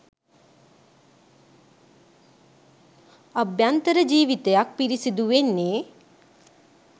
අභ්‍යන්තර ජීවිතයක් පිරිසිදු වෙන්නෙ